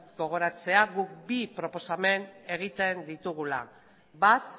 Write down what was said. gogoratzea guk bi proposamen egiten ditugula bat